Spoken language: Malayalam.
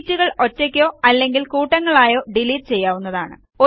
ഷീറ്റുകൾ ഒറ്റയ്ക്കോ അല്ലെങ്കിൽ കൂട്ടങ്ങളായോ ഡിലീറ്റ് ചെയ്യാവുന്നതാണ്